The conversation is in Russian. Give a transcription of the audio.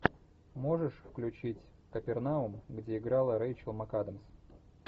можешь включить капернаум где играла рэйчел макадамс